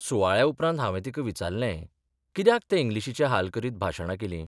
सुवाळ्या उपरांत हांवे तिका विचारलें कित्याक ते इंग्लिशीचे हाल करीत भाशणां केलीं?